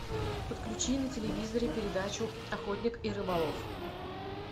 подключи на телевизоре передачу охотник и рыболов